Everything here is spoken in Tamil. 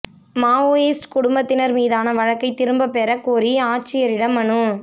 மாவோயிஸ்ட் குடும்பத்தினா் மீதான வழக்கை திரும்பப் பெற கோரி ஆட்சியரிடம் மனு